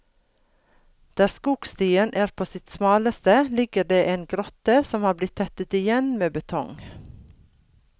Der skogstien er på sitt smaleste, ligger det en grotte som har blitt tettet igjen med betong.